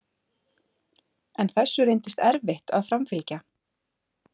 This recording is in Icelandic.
En þessu reyndist erfitt að framfylgja.